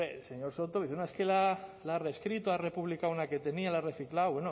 hombre el señor soto dice no es que la ha reescrito ha republicado una que tenía la ha reciclado